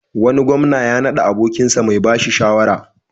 Wani gwamna ya naɗa abokinsa mai ba shi shawara.